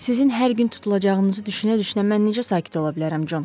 Sizin hər gün tutulacağınızı düşünə-düşünə mən necə sakit ola bilərəm, Con?